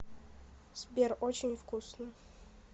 сбер очень вкусно